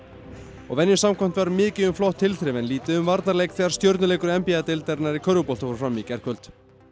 og venju samkvæmt var mikið um flott tilþrif en lítið um varnarleik þegar n b a deildarinnar í körfubolta fór fram í gærkvöld